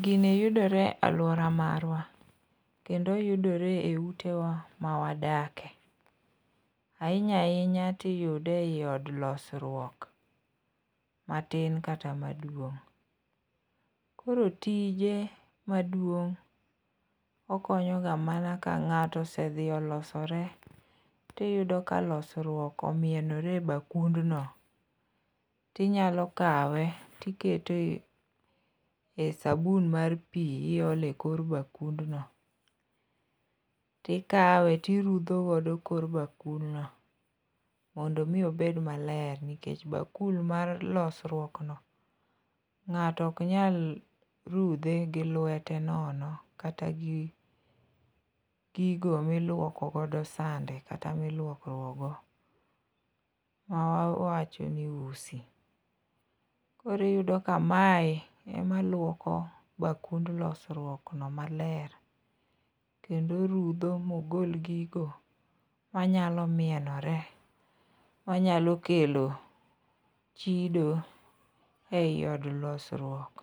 Gini yudore alwora marwa kendo oyudore e utewa mawadakie, ahinya ahinya tiyude ei od losruok matin kata maduong'. koro tije maduong' okonyoga mana ka ng'ato osedhi olosore, tiyudo ka losruok omienore e bakundno, tinyalo kawe tiketo e sabun mar pi iole kor bakundno, tikawe turudho godo kor bakudno, mondo omi obed maler nikech bakul mar losruokno ng'ato ok nyal rudhe gi lwete nono kata gi gigo milwoko godo sande kata milwokruok go ma wawacho ni usi. koro iyudo ka mae ema lwoko bakund losruokno maler kendo orudho mogol gigo manyalo mienore, manyalo kelo chido ei od losruok,